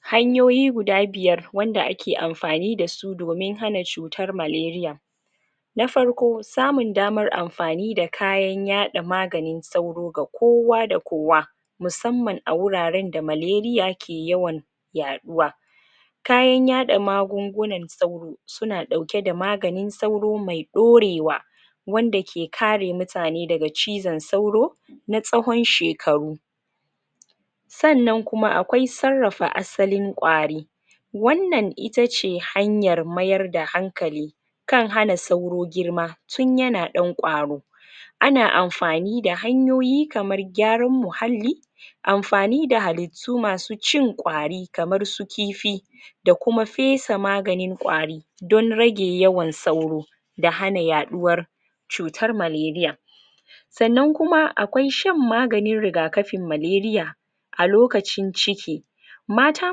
hanyoyi guda biyar wanda ake amfani dasu domin hana cutar maleriya na farko samun damar amfani da kayan yada magani sauro ga kowa ga kowa musamman a wuraren da maleriya ke yawan yaaduwa kayan yada magungunan sauro suna dauke da maganin sauro me daurewa wanda ke kare mutane daga cizon sauro na tsawon shekaru sannan kuma akwai sarrafa asalin kwari wannan iatce hanyar mayar da hankali kan hana sauro girma tun yana dan kwaro ana amfani da hanyoyi kamar gyaran muhalli amfani da halit tu masu cin kwari kamar su kifi da kuma fesa maganin kwari don rage yawan sauro da hana yaduwar cutar maleriya sannan kuma akwai shan maganin rigakafin maleriya a lokacin ciki mata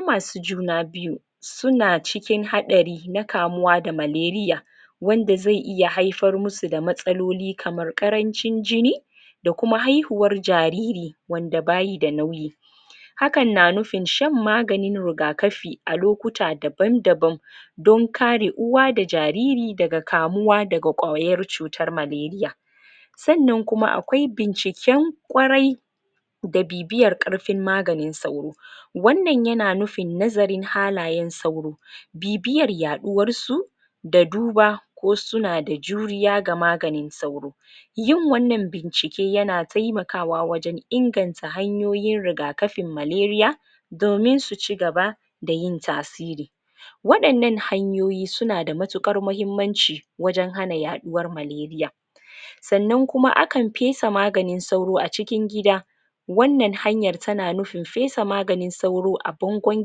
masu juna biyu suna cikin hatsari na kamuwa da maleriya wanda zai iya haifar masu da matsaloli kamar karancin jini da kuma haihuwar jariri wanda bayi da nauyi hakan na nufin shan maganin rigakafi a lokuta daban daban don kare uwa da jariri daga kamuwa daga kwayar maleriya sannan kuma akwai binciken kwarai da bibiyar karfin maganin sauro wannan yana nufin nazarin halayen sauro bibiyar yaduwar su da duba ko suna da juriya ga maganin sauro yin wannan bincike yana taimakawa wajen inganta hanyoyin rigakafin maleriya domin su chigaba da yin tasiri wadannan hanyoyi suna da matukar mahimmanci wajen hana yaduwar maleriya sannan kuma akan fesa maganin sauro a cikin gida wannan hanyar tana nufin fesa maganin sauro a bangon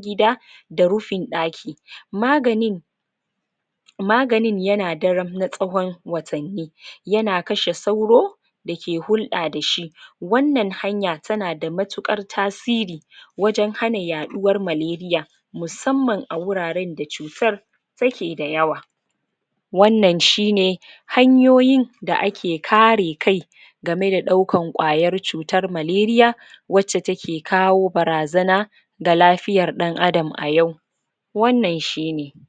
gida da rufin daki maganin maganin yana daram na tsawon watanni yana kashe sauro da ke hulda dashi wannan hanya tana da matukar tasiri wajen hana yaduwar maleriya musamman a wuraren da cutar tare da yawa wannan shine hanyoyi da ake kare kai game da daukan kwayar cutar maleriya wacce ta ke kawo barazana ga lafiyar dan adam a yau wannan shine